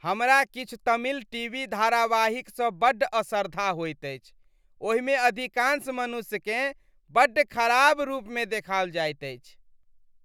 हमरा किछु Tamil T. V. धारावाहिकसँ बड्ड असरधा होइत अछि ओहिमे अधिकांश मनुष्यकेँ बड्ड खराब रूपमे देखाओल जायत अछि।